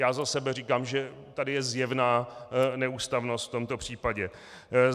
Já za sebe říkám, že tady je zjevná neústavnost v tomto případě.